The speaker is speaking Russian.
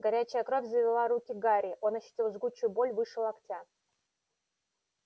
горячая кровь залила руки гарри он ощутил жгучую боль выше локтя